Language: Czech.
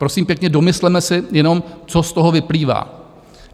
Prosím pěkně, domysleme si jenom, co z toho vyplývá?